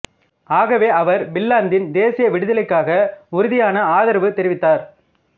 ஆகவே அவர் பின்லாந்தின் தேசிய விடுதலைக்காக உறுதியான ஆதரவு தெரிவித்தார்